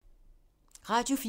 Radio 4